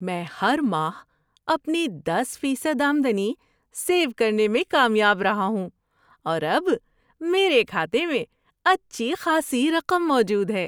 میں ہر ماہ اپنی دس فیصد آمدنی سیو کرنے میں کامیاب رہا ہوں اور اب میرے کھاتے میں اچھی خاصی رقم موجود ہے۔